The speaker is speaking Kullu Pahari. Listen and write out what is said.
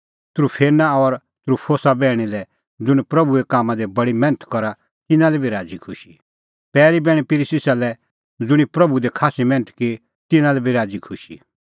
त्रूफेना और त्रूफोसा बैहणी लै ज़ुंण प्रभूए कामां दी बडी मैन्थ करा तिन्नां लै बी राज़ीखुशी पैरी बैहण पिरसिस लै ज़ुंणी प्रभू दी खास्सी मैन्थ की तिन्नां लै बी राज़ीखुशी